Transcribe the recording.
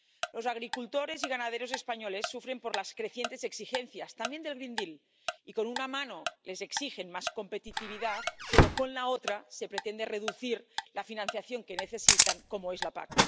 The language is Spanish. Los agricultores y ganaderos españoles sufren por las crecientes exigencias —también del Pacto Verde Europeo—, y con una mano les exigen más competitividad pero, con la otra, se pretende reducir la financiación que necesitan, como es la PAC.